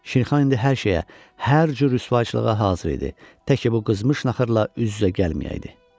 Şirxan indi hər şeyə, hər cür rüsvaçılığa hazır idi, təki bu qızmış naxırla üz-üzə gəlməyəydi.